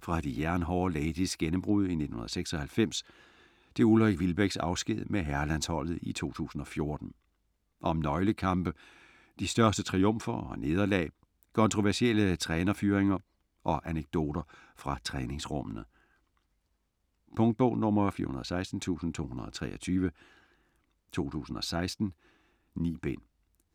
fra De Jernhårde Ladies' gennembrud i 1996 til Ulrik Wilbeks afsked med herrelandsholdet i 2014. Om nøglekampe, de største triumfer og nederlag, kontroversielle trænerfyringer og anekdoter fra træningsrummene. Punktbog 416223 2016. 9 bind.